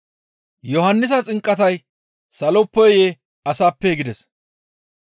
Yohannisa xinqatay saloppeyee? Asappee?» gides.